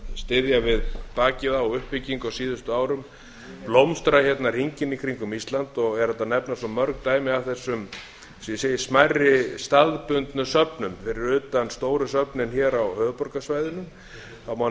styðja við bakið á uppbyggingu á síðustu árum blómstra hérna hringinn í kringum ísland er hægt að nefna svo mörg dæmi af þessum eins og ég segi smærri staðbundnu söfnum fyrir utan stóru söfnin hér á höfuðborgarsvæðinu það